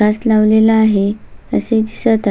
काच लावलेले आहे असे दिसत आहे.